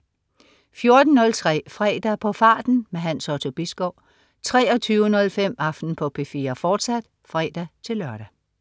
14.03 Fredag på farten. Hans Otto Bisgaard 23.05 Aften på P4, fortsat (fre-lør)